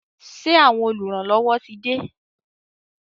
Ṣé àwọn oluranlowo tí de?